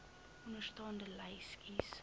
onderstaande lys kies